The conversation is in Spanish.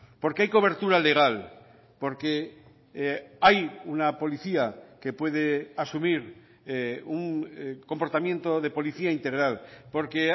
porque hay cobertura legal porque hay una policía que puede asumir un comportamiento de policía integral porque